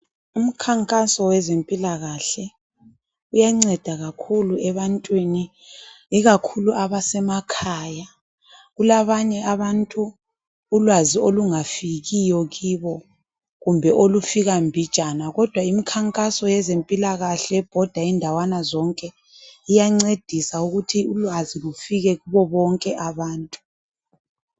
Umkhankaso wezempilakahle uyanceda kakhulu ebantwini ikakhulu abasemakhaya kulabanye abantu ulwazi olungafikiyo kubo kumbe olufika mbijana kodwa imikhankaso yezempilakahle ebhoda indawana zonke iyancedisa ukuthi ulwazi lufike kubobonke abantu.